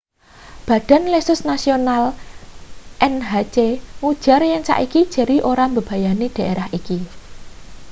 badan lesus nasional nhc ngujar yen saiki jerry ora mbebayani daerah iki